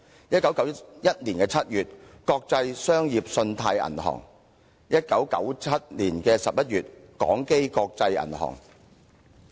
1991年7月，國際商業信貸銀行倒閉。1997年11月，港基國際銀行擠提。